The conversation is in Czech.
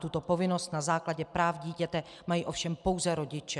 Tuto povinnost na základě práv dítěte mají ovšem pouze rodiče.